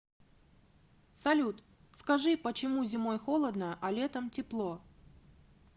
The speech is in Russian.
салют скажи почему зимой холодно а летом тепло